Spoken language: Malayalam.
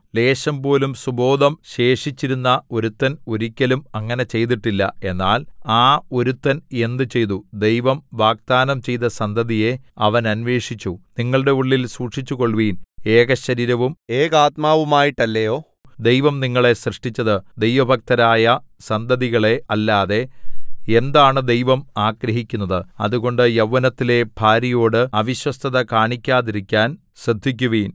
ലേശംപോലും സുബോധം ശേഷിച്ചിരുന്ന ഒരുത്തൻ ഒരിക്കലും അങ്ങനെ ചെയ്തിട്ടില്ല എന്നാൽ ആ ഒരുത്തൻ എന്ത് ചെയ്തു ദൈവം വാഗ്ദാനം ചെയ്ത സന്തതിയെ അവൻ അന്വേഷിച്ചു നിങ്ങളുടെ ഉള്ളിൽ സൂക്ഷിച്ചുകൊള്ളുവിൻ ഏകശരീരവും ഏകാത്മാവുമായിട്ടല്ലയൊ ദൈവം നിങ്ങളെ സൃഷ്ടിച്ചത് ദൈവഭക്തരായ സന്തതികളെ അല്ലാതെ എന്താണ് ദൈവം ആഗ്രഹിക്കുന്നത് അതുകൊണ്ട് യൗവനത്തിലെ ഭാര്യയോട് അവിശ്വസ്തത കാണിക്കാതിരിക്കാൻ ശ്രദ്ധിക്കുവിൻ